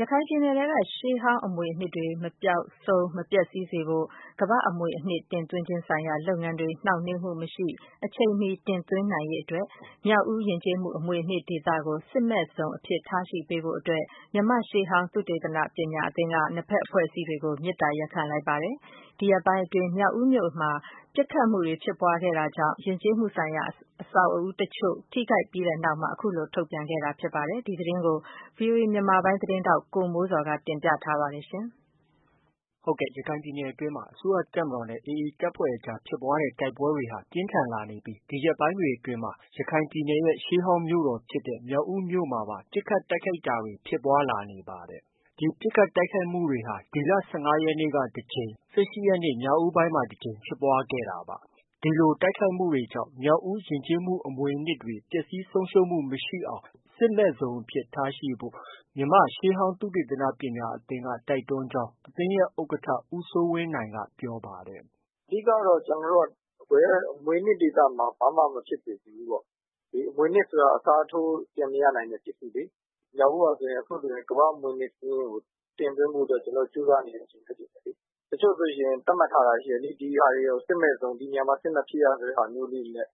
ရခိုင်ပြည်နယ်က ရှေးဟောင်း အမွေအနှစ်တွေ မပျောက်ဆုံး၊ မပျက်ဆီးစေဖို့နဲ့ ကမ္ဘာ့အမွေအနှစ်တင်သွင်းခြင်း ဆိုင်ရာလုပ်ငန်းတွေ နှောင့်နှေးမှုမရှိ အချိန်မီ တင်သွင်းနိုင်ရေးအတွက် မြောက်ဦး ယဉ်ကျေးမှု အမွေအနှစ် ဒေသကို စစ်မဲ့ဇုန်အဖြစ် ထားရှိပေးဖို့ အဲ့ဒီလို တောင်းဆိုလိုက်တာပါ။ ဒီသတင်းကိုတော့ ဗွီအိုအေမြန်မာပိုင်းရဲ့ သတင်းထောက် ကိုမိုးဇော်က တင်ပြထား ပါတယ်။ ဟုတ်ကဲ့။ ရခိုင်ပြည်နယ်အတွင်းမှာ အစိုးရ တပ်မတော်နဲ့ AA တပ်ဖွဲ့အကြား ဖြစ်ပွားတဲ့ တိုက်ပွဲတွေဟာ ပြင်းထန်လာနေပြီး ဒီရက်ပိုင်းတွေအတွင်းမှာ ရခိုင်ရဲ့ ရှေးဟောင်းမြို့တော်ဖြစ်တဲ့ မြောက်ဦးမြို့မှာပါ ပစ်ခတ် တိုက်ခိုက်တာတွေ ဖြစ်ပွားလာနေပါတယ်။ ဒီလို ပစ်ခတ် တိုက်ခိုက်မှုတွေဟာ ဒီလ ၁၅ ရက်နေ့က တကြိမ်နဲ့ ၁၈ ရက်နေ့ ညဦးပိုင်းမှာ တကြိမ်ဖြစ်ပွား ခဲ့တာပါ။ ဒီလို တိုက်ခိုက်မှုတွေ ဖြစ်တာကြောင့် မြောက်ဦး ယဉ်ကျေးမှု အမွေအနှစ်တွေ ပျက်ဆီးဆုံးရှုံးမှု မရှိအောင် စစ်မဲ့ဇုန်အဖြစ် ထားရှိဖို့ မြန်မာ့ရှေးဟောင်း သုတေသန ပညာအသင်းက တိုက်တွန်းကြောင်း အသင်းရဲ့ ဥက္ကဋ္ဌ ဦးစိုးဝင်းနိုင်က ပြောပါတယ်။ “အဓိကကတော့ ကျနော်တို့က ဘယ်အမွေအနှစ်ဒေသမှာမှ ဘာမှ မဖြစ်စေချင်ဘူးပေါ့။ အမွေအနှစ်ဆိုတာ အစားထိုးပြန်မရနိုင်တဲ့ ပစ္စည်းလေ။ မြောက်ဦးဟာဆိုရင် အခုဆိုရင် ကမ္ဘာ့အမွေအနှစ် စာရင်းကို တင်သွင်းဖို့ အတွက် ကျနော်တို့ ကြိုးစားနေတဲ့အချိန် ဖြစ်တယ်လေ။ တစ်ချို့ဆိုရင် သတ်မှတ်ထားတာ ရှိတယ်လေ။ ဒီဟာတွေကို စစ်မဲ့ဇုန်၊ ဒီနေရာမှာ စစ်မဖြစ်ရ ဆိုတဲ့ဟာမျိုးလေးတွေနဲ့၊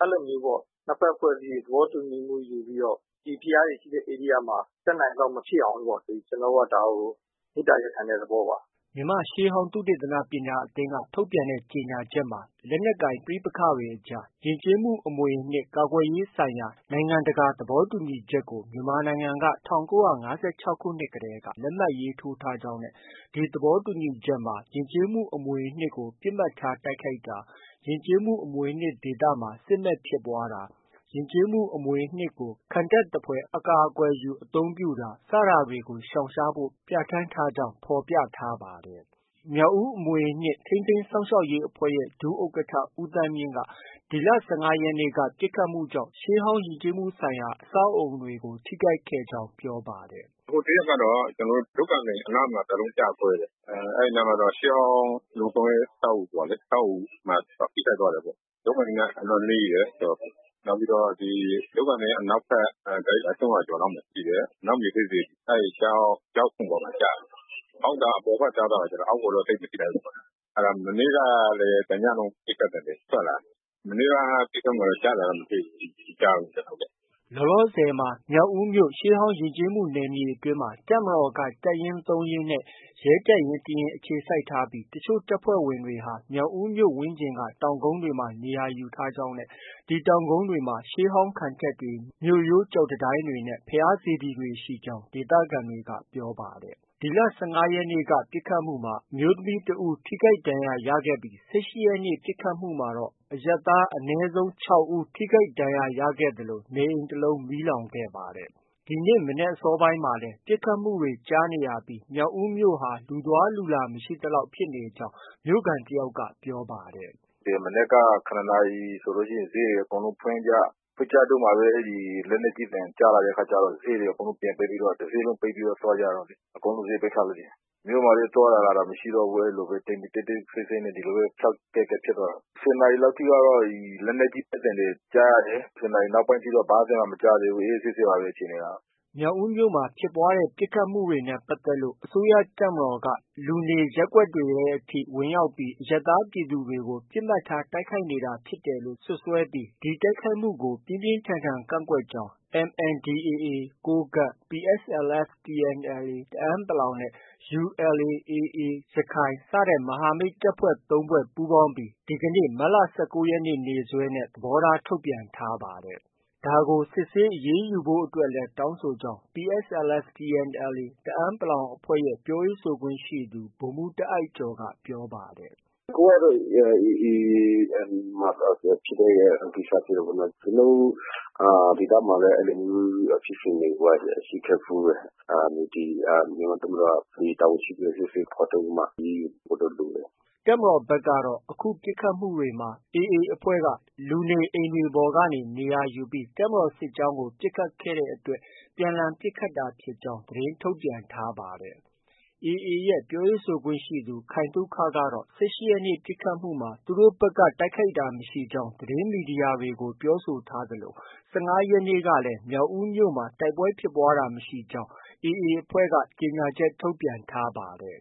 အဲလိုမျိုးပေါ့။ နှစ်ဖက် အဖွဲ့အစည်းတွေ သဘောတူညီမှုယူပြီးတော့ ဒီဘုရားတွေ ရှိတဲ့ ဧရိယာမှာ တတ်နိုင်သလောက် မဖြစ်အောင်ပေါ့ ကျနော်တို့က ဒါကို မေတ္တာရပ်ခံတဲ့ သဘောပါ။” မြန်မာ့ရှေးဟောင်း သုတေသန ပညာအသင်းက ထုတ်ပြန်တဲ့ ကြေညာချက်မှာ လက်နက်ကိုင် ပဋိပက္ခအကြား ယဉ်ကျေးမှု အမွေအနှစ် ကာကွယ်ရေးဆိုင်ရာ နိုင်ငံတကာ သဘောတူညီချက်ကို မြန်မာနိုင်ငံဟာ ၁၉၅၆ခုနှစ် ကတည်းက လက်မှတ် ထိုးထားကြောင်းနဲ့ ဒီသဘောတူညီချက်မှာ ယဉ်ကျေးမှု အမွေအနှစ်ကို ပစ်မှတ်ထား တိုက်ခိုက်တာ၊ ယဉ်ကျေးမှု အမွေအနှစ်ဒေသမှာ စစ်မက်ဖြစ်ပွားတာ၊ ယဉ်ကျေးမှု အမွေအနှစ်ကို ခံတပ်သဖွယ် အကာအကွယ်ယူ အသုံးပြုတာတွေကို ရှောင်ရှားဖို့ ပြဌာန်းထားကြောင်း ဖော်ပြထားပါတယ်။ မြောက်ဦး အမွေအနှစ် ထိန်းသိမ်း စောင့်ရှောက်ရေး အဖွဲ့ရဲ့ ဒုဥက္ကဋ္ဌ ဦးသန်းမြင့်က ဒီလ ၁၅ ရက်နေ့က ပစ်ခတ်မှုတွေကြောင့် ရှေးဟောင်း ယဉ်ကျေးမှုဆိုင်ရာ အဆောက်အဦးတွေကို ထိခိုက်ခဲ့ကြောင်း ပြောပါတယ်။ “ဟိုတစ်ရက်ကတော့ ထုက္ကန်သိမ် အနားမှာ တစ်လုံးကျကွဲတယ်။ အဲဒီ အနားမှာတော့ ရှေးဟောင်း လုံခြုံရေး အဆောက်အဦးမှာ ထိခိုက်သွားတယ်ပေါ့။ ထုက္ကန်သိမ်က အလွန်နီးတယ်။ နောက်ပြီးတော့ ထုက္ကန်သိမ်က အနောက်ဘက် ကိုက် ၃၀၀ ကျော်လောက်မှာရှိတဲ့ အနောက်မြေထဲ စေတီ အဲဒီ ကျောက်ခုံပေါ်မှာ ကျတယ်။ ပေါက်တာက အပေါ်ဘက်သွားတယ်။ အောက်ကိုတော့ သိပ်မထိခိုက်ဘူး။ အဲဒါ မနေ့ကလည်း တစ်ညလုံး ပစ်ခတ်သံတွေ ထွက်လာတယ်။ မနေ့က ပစ်ခတ်မှုမှာတော့ ကျတာတော့ မတွေ့ဘူး။ မကြားဘူး။” လောလောဆည်မှာ မြောက်ဦးမြို့ ရှေးဟောင်းယဉ်ကျေးမှု နယ်မြေအတွင်းမှာ တပ်မတော်က တပ်ရင်း ၃ ရင်းနဲ့ ရဲတပ်ရင်းတစ်ရင်း အခြေစိုက်ထားပြီး အချို့တပ်ဖွဲ့ဝင်တွေဟာ မြောက်ဦးမြို့ဝန်းကျင်က တောင်ကုန်းတွေမှာ နေရာ ယူထားကြောင်းနဲ့ ဒီတောင်ကုန်းတွေမှာ ရှေးဟောင်း ခံတပ်တွေ၊ မြို့ရိုး ကျောက်တံတိုင်းတွေနဲ့ ဘုရား စေတီတွေရှိကြောင်း ဒေသခံတွေက ပြောပါတယ်။ ဒီလ ၁၅ရက်နေ့ ပစ်ခတ်မှုမှာ အမျိုးသမီးတစ်ဦး ထိခိုက်ဒဏ်ရာရခဲ့ပြီး ၁၈ ရက်နေ့ညက ပစ်ခတ်မှုမှာတော့ အရပ်သား အနည်းဆုံး ၆ ဦး ထိခိုက်ဒဏ်ရာရခဲ့သလို နေအိမ် တလုံး မီးလောင်ခဲ့ပါတယ်။ ၁၉ရက်နေ့ မနက်အစောပိုင်းမှာလည်း ပစ်ခတ်သံတွေ ကြားနေရပြီး မြောက်ဦးမြို့ဟာ လူသွားလူလာ မရှိသလောက် ဖြစ်နေခဲ့ကြောင်း မြို့ခံ တယောက်က ပြောပါတယ်။ “မနက်က ၇ နာရီဆိုရင် ဈေးတွေ အကုန်လုံးဖွင့်ကြ၊ ဖွင့်ကြတုံးမှာပဲ အဲဒီ လက်နက်ကြီးသံတွေ ကြားလာတဲ့ အခါကျတော့ ဈေးတွေ အကုန်လုံး ပြန်ပိတ်ပြီးတော့ တဈေးလုံး ပိတ်ပြီးတော့ သွားကြတာလေ။ အကုန်လုံး ဈေး ပိတ်ထားလိုက်ပြီ။ မြို့မှာလည်း သွားတာ၊ လာတာ မရှိတော့ဘူး။ တိတ်တိတ်ဆိတ်ဆိတ်နဲ့ ဒီလိုပဲ ခြောက်ကပ်ကပ် ဖြစ်သွားတာ။ ၁၀ နာရီလောက်ထိကတော့ လက်နက်ကြီး ပစ်သံတွေ ကြားရတယ်။ ၁၀ နာရီ နောက်ပိုင်းတော့ ဘာသံမှ မကြားရသေးဘူး။ အေးအေးဆေးဆေးပါပဲ အခြေအနေကတော့။” မြောက်ဦးမြို့မှာ ဖြစ်ပွားခဲ့တဲ့ ပစ်ခတ်မှုတွေနဲ့ ပတ်သက်လို့ အစိုးရတပ်မတော်က လူနေ ရပ်ကွက်တွေထဲ အထိ ဝင်ရောက်ပြီး အရပ်သား ပြည်သူတွေကိုပါ ပစ်မှတ်ထား တိုက်ခိုက်နေတာ ဖြစ်တယ်လို့ စွပ်စွဲပြီး ဒီလိုတိုက်ခိုက်မှုတွေကို ပြင်းပြင်းထန်ထန် ကန့်ကွက်ကြောင်း MNDAA ကိုးကန့်၊ PSLF/TNLA တအန်း နဲ့ ULA/AA ရခိုင် မဟာမိတ်တပ်ဖွဲ့ သုံးဖွဲ့ ပူးပေါင်းပြီး ဒီကနေ့ မတ်လ ၁၉ ရက်နေ့ နေ့စွဲနဲ့ သဘောထား ထုတ်ပြန်ထားပါတယ်။ ဒါကို စစ်ဆေး အရေးယူပေးဖို့အတွက်လည်း တောင်းဆိုကြောင်း PSLF/TNLA တအန်း အဖွဲ့ရဲ့ ပြောခွင့်ရသူ ဗိုလ်မှုး တာအိုက်ကျော်က ပြောပါတယ်။ “အခုကတော့ AA မှာ ဖြစ်တာပေါ့နော်။ ကျနော်တို့ ဒေသမှာလည်း အဲလို ဖြစ်စဉ်တွေ ဖြစ်ခဲ့ဖူးတယ်။ ဒီ မြန်မာ့တပ်မတော်က တာဝန်ရှိသူကို စစ်ဆေး ဖော်ထုတ်ပြီးမှ အရေးယူပေးဖို့တော့ လိုတယ်။” တပ်မတော်ဘက်ကတော့ အခုပစ်ခတ်မှုတွေမှာ AA အဖွဲ့က လူနေအိမ်တွေပေါ်ကနေ နေရာယူပြီး တပ်မတော် စစ်ကြောင်းကို ပစ်ခတ်တဲ့အတွက် ပြန်လှန် ပစ်ခတ်တာဖြစ်ကြောင်း သတင်း ထုတ်ပြန်ထားပါတယ်။ AA ရဲ့ ပြောရေးဆိုခွင့်ရှိသူ ခိုင်သုခကတော့ ၁၈ရက်နေ့ ပစ်ခတ်မှုမှာ သူတို့ဘက်က တိုက်ခိုက်တာ မရှိကြောင်း သတင်းမီဒီယာတွေကို ပြောဆိုထားသလို ၁၅ ရက်နေ့ကလည်း မြောက်ဦးမြို့မှာ တိုက်ပွဲဖြစ်တာ မရှိကြောင်း AA က ကြေညာချက် ထုတ်ပြန်ထားပါတယ်